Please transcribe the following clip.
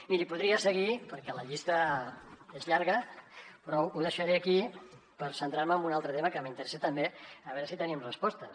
miri podria seguir perquè la llista és llarga però ho deixaré aquí per centrar me en un altre tema que m’interessa també a veure si en tenim respostes